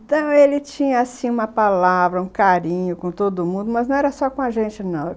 Então ele tinha, assim, uma palavra, um carinho com todo mundo, mas não era só com a gente, não.